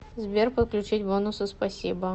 сбер подключить бонусы спасибо